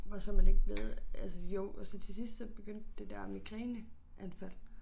Hvor så man ikke ved altså jo og så til sidst så begyndte det der migræneanfald